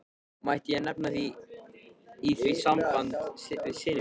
Mætti ég nefna í því sambandi syni mína.